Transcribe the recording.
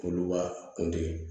Olu ka kun te